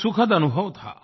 एक सुखद अनुभव था